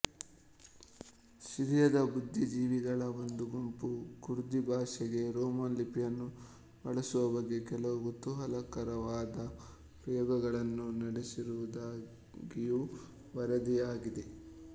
ಸಿರಿಯದ ಬುದ್ದಿಜೀವಿಗಳ ಒಂದು ಗುಂಪು ಕುರ್ದಿಭಾಷೆಗೆ ರೋಮನ್ ಲಿಪಿಯನ್ನು ಬಳಸುವ ಬಗ್ಗೆ ಕೆಲವು ಕುತೂಹಲಕರವಾದ ಪ್ರಯೋಗಗಳನ್ನು ನಡೆಸಿರುವುದಾಗಿಯೂ ವರದಿಯಾಗಿದೆ